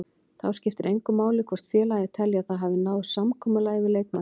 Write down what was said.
Þá skiptir engu máli hvort félagið telji að það hafi náð samkomulagi við leikmanninn.